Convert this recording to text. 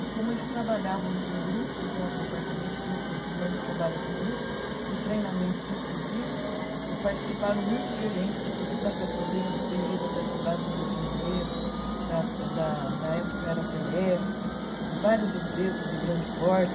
E como eles trabalhavam com grupos né, o Departamento de Recursos Humanos trabalha com grupos e treinamentos, inclusive, participaram muitos gerentes, inclusive da Petro venha, veio engenheiro da petrobras do Rio de Janeiro, da da na época era a Telesp, de várias empresas de grande porte.